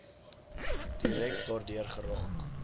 direk daardeur geraak